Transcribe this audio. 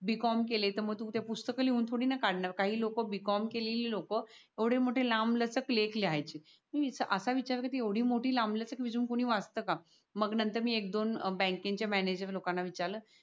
b. com केलय तर मग तुमचे पुस्तक लिहून थोडी ना काढणार काही लोक b. com केलेली लोक एवडे मोठे लांब लचक लेख लिहायचे. मी अस विचार केला एवडी मोठी लांब लचक रेझूमे कोणी वाचत का? मग मी नंतर एक दोन बँक च्या मॅनेजर लोकान ना विचारल